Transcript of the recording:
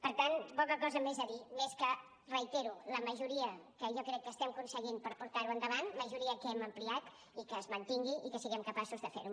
per tant poca cosa més a dir més que reiterar la majoria que jo crec que estem aconseguint per portar ho endavant majoria que hem ampliat i que es mantingui i que siguem capaços de fer ho